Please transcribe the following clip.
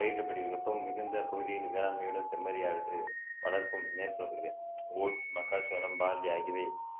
பயிரிடப்படுகிறது வெப்பம் மிகுந்த பகுதியில் வேளாண்மையுடன் செம்மறியாடு வளர்ப்பும் மேற்கொள்ளப்படுகிறது ஓட்ஸ் மக்காச்சோளம் பார்லி ஆகியவை